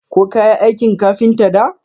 Ko kayi aikin kafinta da?